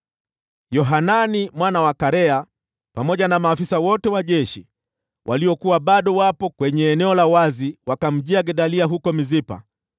Yohanani mwana wa Karea pamoja na maafisa wote wa jeshi waliokuwa bado wapo kwenye eneo la wazi wakamjia Gedalia huko Mispa